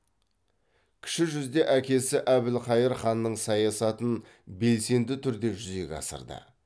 кіші жүзде әкесі әбілқайыр ханның саясатын белсенді түрде жүзеге асырды